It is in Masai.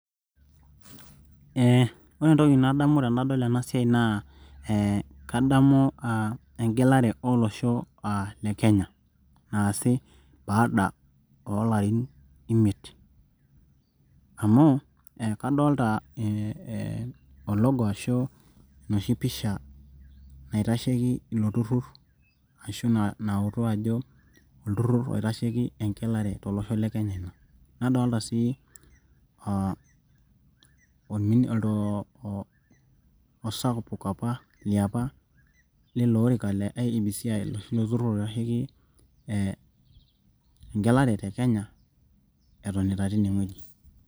ore entoki nadamu tenadol ena siai, naa kadamu egelare olosho le kenya naasi baada oolarin imiet. amu kadolta ologo ashu enoshi pisha naitasheki, ilo turur. ashu nautu ajo egelare tolosho le kenya ina. nadoolta sii osapuk apa liapa le iebc oitasheki egelare te kenya etonita teine wueji.